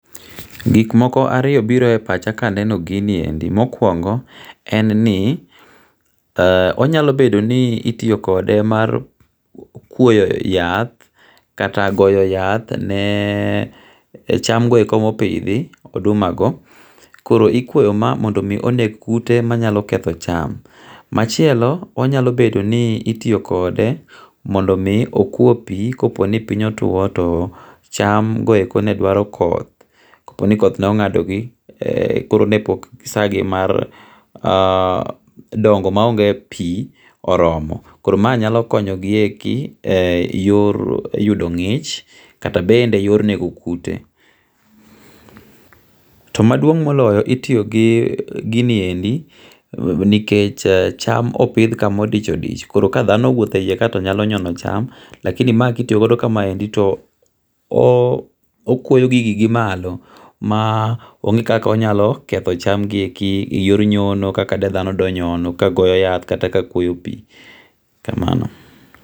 Gik moko ariyo biro e pacha ka aneno giniendi, mokuongo en ni onyalobedo ni itiyokode mar kwoyo yath kata giyo yath ne chamgo eko ma opithi odumago, koro ikwoyo ma mondo mi eneg kute manyalo ketho cham, machielo onyalo bedo ni itiyokode mondo mi okwo pi koponi piny otwo to chamgo eke ne dwaro koth ko poni koth ne onga'dogi, koro ne pok sagi mar gongo maonge pi oromo, koro ma nyalo konyogieki e yor yudo ngi'ch kata bende yor nego kute to maduong moloyo itiyo gi giniendi nikech cham opithka mo odich odich koro ka dhano owutho e hiye kae to nyalo nyono cham lakini mae ka itiyogodo to okuoyo gigi gi malo ma ongi' kaka onyalo ketho chamgi eki e yor nyono kaka de thano donyono ka goyo yath kata ka kuoyo pi kamano